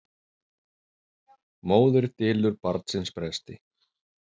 Móðir dylur barnsins bresti.